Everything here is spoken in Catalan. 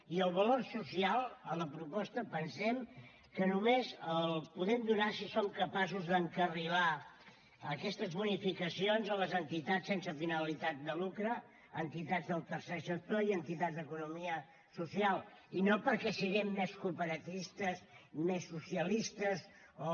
i el valor social a la proposta pensem que només l’hi podem donar si som capaços d’encarrilar aquestes bonificacions a les entitats sense finalitat de lucre entitats del tercer sector i entitats d’economia social i no perquè siguem més cooperativistes més socialistes o